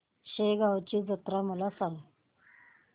शेगांवची जत्रा मला सांग